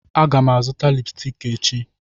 Aga m azụta lipsticki echi